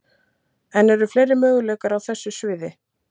En eru fleiri möguleikar á þessu sviði?